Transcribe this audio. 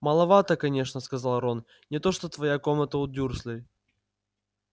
маловато конечно сказал рон не то что твоя комната у дюрслей